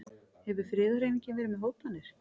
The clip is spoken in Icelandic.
Hefur friðarhreyfingin verið með hótanir?